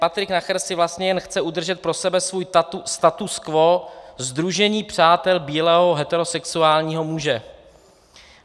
"Patrik Nacher si vlastně jen chce udržet pro sebe svůj status quo sdružení přátel bílého heterosexuálního muže.